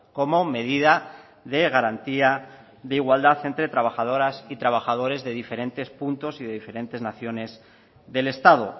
como medida de garantía de igualdad entre trabajadoras y trabajadores de diferentes puntos y de diferentes naciones del estado